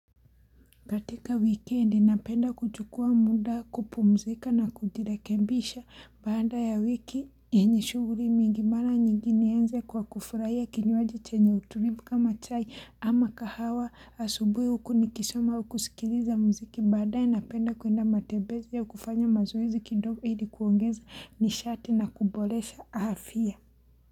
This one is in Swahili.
Katika wikendi napenda kuchukua muda kupumzika na kujirekebisha baada ya wiki yenye shughuri mingi mara nyingini nianze kwa kufurahia kinywaji chenye utulivu kama chai ama kahawa asubuhi huku nikisoma kusikiliza muziki baadaye napenda kwenda matembezi ya kufanya mazoezi kidogo ili kuongeza nishati na kuboresha afya Muzika.